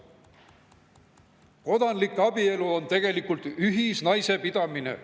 Kodanlik abielu on tegelikult ühisnaisepidamine."